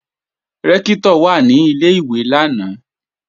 Rẹ́ktọ̀ wà ní Ilé-ìwé lánàá